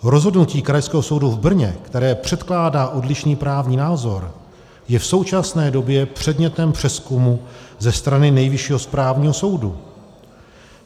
Rozhodnutí Krajského soudu v Brně, které předkládá odlišný právní názor, je v současné době předmětem přezkumu ze strany Nejvyššího správního soudu.